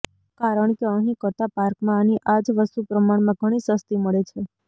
કારણ કે અહીં કરતાં પાર્કમાં આની આ જ વસ્તુ પ્રમાણમાં ઘણી સસ્તી મળે છે